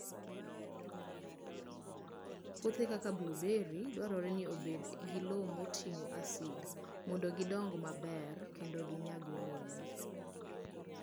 Puothe kaka blueberry dwarore ni obed gi lowo moting'o asidi mondo gidong maber kendo ginyag olemo.